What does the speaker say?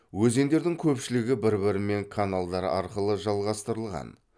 өзендердің көпшілігі бір бірімен каналдар арқылы жалғастырылған